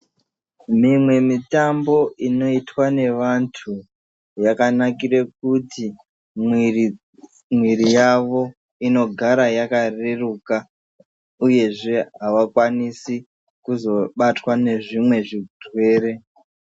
Mimwe mitambo inoitwa ngevantu, yakanakire kuti mwiri, mwiri yavo inogara yakareruka, uyezve avakwanisi kuzobatwa nezvimwe zvirwere.